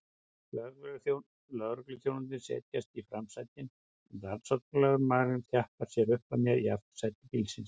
Lögregluþjónarnir setjast í framsætin en rannsóknarlögreglumaðurinn þjappar sér upp að mér í aftursæti bílsins.